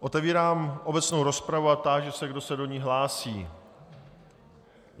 Otevírám obecnou rozpravu a táži se, kdo se do ní hlásí.